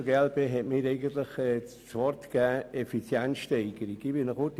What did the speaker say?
Der Kollege Alberucci hat das Stichwort Effizienzsteigerung genannt.